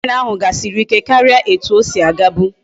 Train ahu gasiri ike karia etu osi aga bu